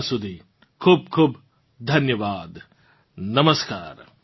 ત્યાં સુધી ખૂબખૂબ ધન્યવાદ નમસ્કાર